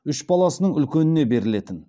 үш баласының үлкеніне берілетін